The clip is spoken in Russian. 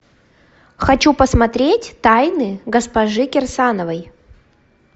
хочу посмотреть тайны госпожи кирсановой